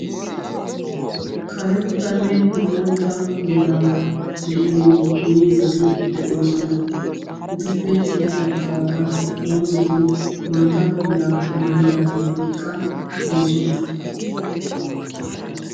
karettanne bootta meray de'iyo miizzati de'oosona. etuppe ya baggaara dozzati maata meraa maayidaageetikka de'oosona.